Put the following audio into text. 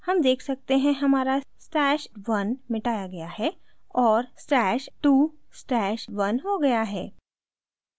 हम देख सकते हैं हमारा stash @{1} मिटाया गया है और stash @{2} stash @{1} हो गया है